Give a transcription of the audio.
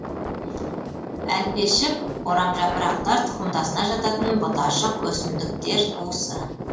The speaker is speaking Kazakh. әлпешік орамжапырақтар тұқымдасына жататын бұташық өсімдіктер туысы